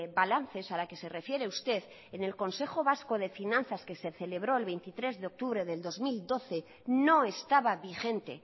balances a la que se refiere usted en el consejo vasco de finanzas que se celebró el veintitrés de octubre de dos mil doce no estaba vigente